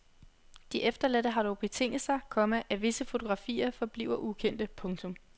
De efterladte har dog betinget sig, komma at visse fotografier forbliver ukendte. punktum